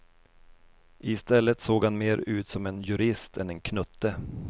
I stället såg han mer ut som en jurist än en knutte.